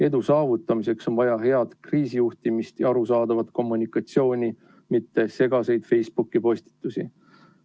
Edu saavutamiseks on vaja head kriisijuhtimist ja arusaadavat kommunikatsiooni, mitte segaseid Facebooki postitusi.